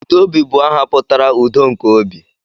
Udobi bụ aha pụtara 'udo nke obi'